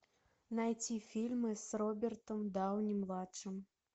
найти фильмы с робертом дауни младшим